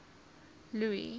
louis